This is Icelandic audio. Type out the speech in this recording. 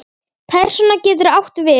Persóna getur átt við